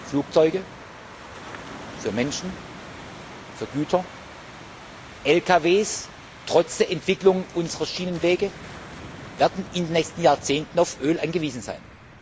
Flugzeuge, für Menschen, für Güter, LKW werden trotz der Entwicklung unserer Schienenwege in den nächsten Jahrzehnten auf Öl angewiesen sein.